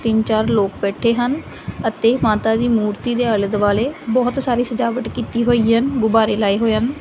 ਤਿੰਨ ਚਾਰ ਲੋਕ ਬੈਠੇ ਹਨ ਅਤੇ ਮਾਤਾ ਦੀ ਮੂਰਤੀ ਦੇ ਆਲੇ-ਦੁਆਲੇ ਬਹੁਤ ਸਾਰੀ ਸਜਾਵਟ ਕੀਤੀ ਹੋਈ ਹਨ। ਗੁਬਾਰੇ ਲਾਏ ਹੋਏ ਹਨ।